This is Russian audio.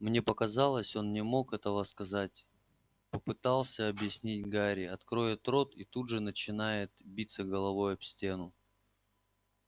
мне показалось он не мог этого сказать попытался объяснить гарри откроет рот и тут же начинает биться головой об стену